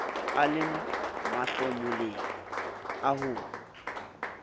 a le mahlomoleng a ho